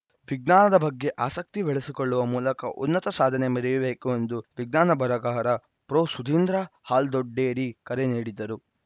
ವಿಜ್ಞಾನದ ಬಗ್ಗೆ ಆಸಕ್ತಿ ಬೆಳೆಸಿಕೊಳ್ಳುವ ಮೂಲಕ ಉನ್ನತ ಸಾಧನೆ ಮೆರೆಯಬೇಕು ಎಂದು ವಿಜ್ಞಾನ ಬರಹಗಾರ ಪ್ರೊಸುಧೀಂದ್ರ ಹಾಲ್ದೊಡ್ಡೇರಿ ಕರೆ ನೀಡಿದರು